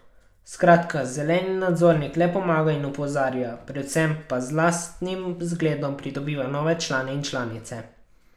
Skratka zeleni nadzornik le pomaga in opozarja, predvsem pa z lastnim zgledom pridobiva nove člane in članice.